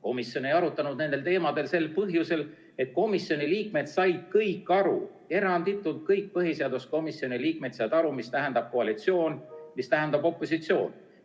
Komisjon ei arutanud nendel teemadel sel põhjusel, et komisjoni liikmed said kõik aru, eranditult kõik põhiseaduskomisjoni liikmed said aru, mis tähendab koalitsioon ja mis tähendab opositsioon.